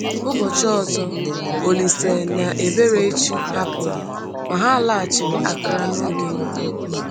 Ụbọchị ọzọ, Olíse na Eberechi hapụrụ, ma ha laghachiri Accra n’oge nta.